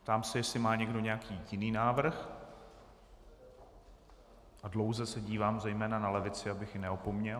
Ptám se, jestli má někdo nějaký jiný návrh, a dlouze se dívám zejména na levici, abych ji neopomněl.